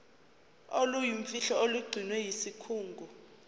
oluyimfihlo olugcinwe yisikhungo